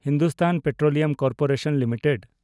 Hindustan petroleum corporation limited